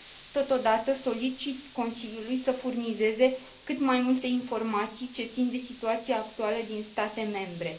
Totodată, solicit Consiliului să furnizeze cât mai multe informații ce țin de situația actuală din state membre.